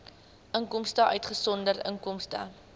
inkomste uitgesonderd inkomste